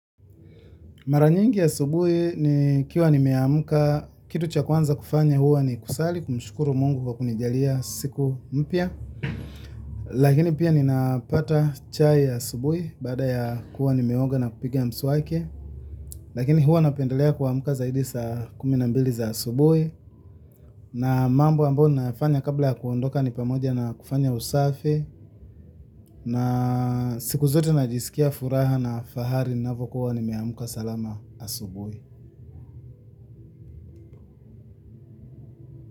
Mara nyingi asubuhi nikiwa nimeamka, kitu cha kwanza kufanya huwa ni kusali, kumshukuru Mungu kwa kunijalia siku mpya. Lakini pia ninapata chai ya asubuhi baada ya kuwa nimeoga na kupiga mswaki lakini huwa napendelea kuamka zaidi saa kumi na mbili za asubuhi. Na mambo ambayo nayafanya kabla ya kuondoka ni pamoja na kufanya usafi. Na siku zote najisikia furaha na fahari ninapokuwa nimeamka salama asubuhi.